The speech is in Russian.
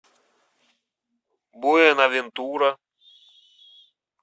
буэнавентура